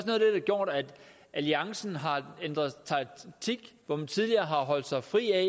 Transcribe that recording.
har gjort at alliancen har ændret taktik hvor man tidligere har holdt sig fri af